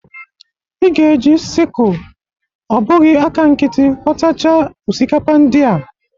Ị ga-eje sikul, ọ bụghi aka nkiti, ghọtacha osikapa ndị a.